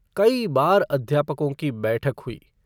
कई बार अध्यापकों की बैठक हुई।